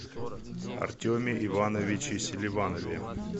артеме ивановиче селиванове